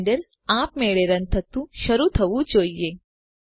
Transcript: Blender આપમેળે run થતું શરૂ થવું જોઈએ